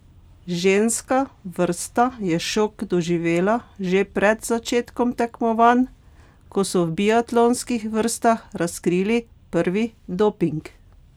Ženska vrsta je šok doživela že pred začetkom tekmovanj, ko so v biatlonskih vrstah razkrili prvi doping.